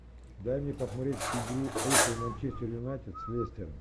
дай мне посмотреть игру апл манчестер юнайтед с лестером